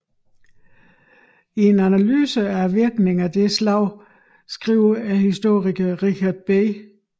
I en analyse af virkningen af dette slag skriver historikeren Richard B